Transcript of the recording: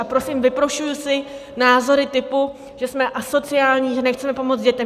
A prosím, vyprošuji si názory typu, že jsme asociální, že nechceme pomoct dětem!